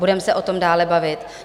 Budeme se o tom dále bavit.